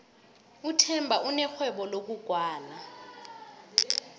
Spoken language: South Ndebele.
uthemba unerhwebo lokugwala